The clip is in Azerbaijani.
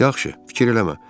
Yaxşı, fikir eləmə.